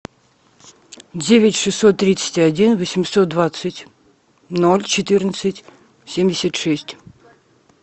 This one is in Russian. девять шестьсот тридцать один восемьсот двадцать ноль четырнадцать семьдесят шесть